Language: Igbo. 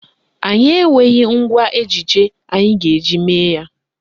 Anyị enweghị ngwa ejije anyị ga-eji mee ya.